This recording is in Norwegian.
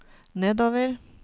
nedover